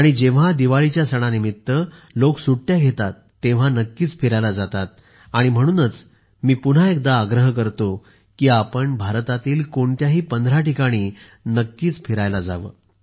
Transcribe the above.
आणि जेव्हा दिवाळीच्यासणानिमित्त लोक सुट्ट्यांवर येतात तेव्हा नक्कीच फिरायला जातात म्हणूनच मी पुन्हा एकदा आग्रह करतो की आपण भारतातील कोणत्याही पंधरा ठिकाणी नक्कीच फिरायला जावे